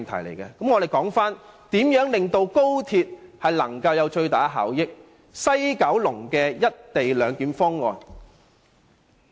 讓我們談談能令高鐵帶來最大的效益的西九龍"一地兩檢"方案。